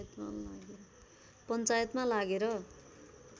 पञ्चायतमा लागेर